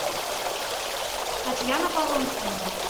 татьяна полонская